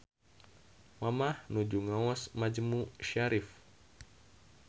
Mamah nuju ngaos majmu syarif